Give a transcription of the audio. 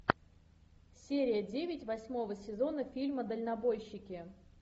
серия девять восьмого сезона фильма дальнобойщики